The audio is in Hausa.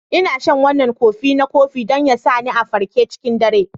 Ina shan wannan kofi na kofi don ya sa ni a farke cikin dare.